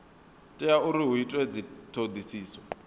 tea uri hu itwe dzithodisiso